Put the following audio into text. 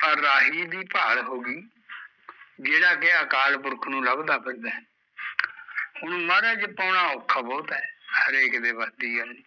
ਫਿਰ ਰਾਹੀ ਦੀ ਭਾਲ ਹੋਗੀ ਜਿਹੜਾ ਕਿ ਅਕਾਲ ਪੁਰਖ ਨੂ ਲੱਭਦਾ ਫਿਰਦਾ ਐ ਹੁਣ ਮਹਰਾਜ ਪਾਉਣ ਔਖਾ ਬਹੁਤ ਐ, ਹਰੇਕ ਦੇ ਵੱਸ ਦੀ ਗੱਲ ਨੀ